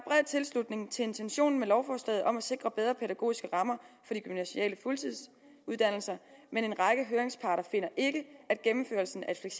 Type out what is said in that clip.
tilslutning til intentionen med lovforslaget om at sikre bedre pædagogiske rammer for de gymnasiale fuldtidsuddannelser men en række høringsparter finder ikke at gennemførelsen af et